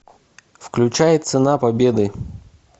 включай цена победы